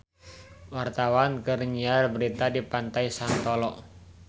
Wartawan keur nyiar berita di Pantai Santolo